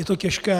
Je to těžké.